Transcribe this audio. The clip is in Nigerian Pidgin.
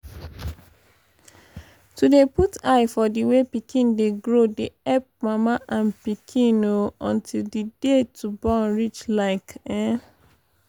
to dey put eye for di way pikin dey grow dey epp mama and pikin um until d day to born reach like eh